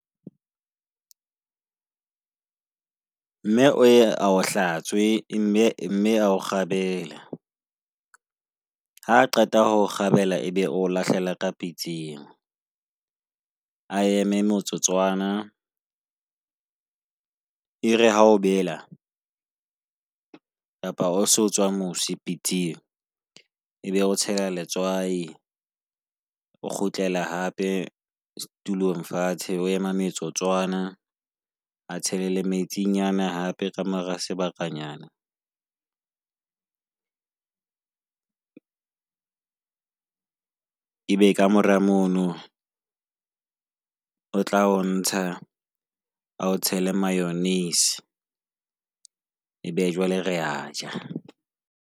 Mme o ye a a hlatswe, mme mme a akgebele. Ha qeta ho o kgabela ebe o lahlelela ka pitseng, a eme motsotswana. Ere ha o bela kapa ho so tswa mosi pitseng, ebe o tshela letswai o kgutlele hape tlstulong fatshe. O ema metsotsoana e tshele le, metsinyana hape ka mora sebakanyana. Ebe kamora mono o tla o ntsha a o tshele mayonnaise. Ebe jwale re aja.